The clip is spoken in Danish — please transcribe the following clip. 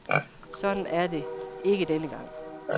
Sådan er det ikke denne gang.